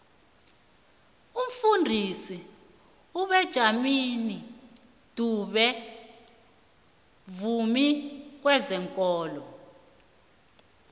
umfundisi ubenjamini dube mvumi wezekolo